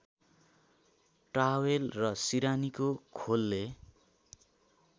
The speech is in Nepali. टावेल र सिरानीको खोलले